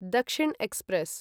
Dakshin express